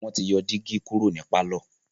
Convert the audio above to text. wọ́n ti yọ dígí kúrò ní pálọ̀.